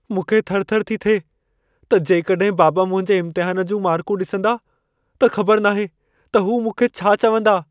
मूंखे थरथर थी थिए त जेकॾहिं बाबा मुंहिंजे इम्तिहान जूं मार्कूं ॾिसंदा, त ख़बर नाहे त हू मूंखे छा चवंदा।